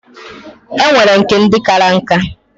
E nwere nke ndi kara nka.